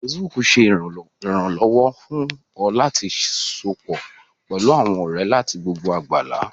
Facebook ṣé ìrànlọ́wọ́ fún ọ láti sopọ̀ pẹlú àwọn ọ̀rẹ́ láti gbogbo àgbálá